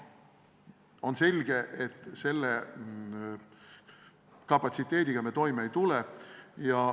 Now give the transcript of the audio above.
On selge, et selle kapatsiteediga me toime ei tule.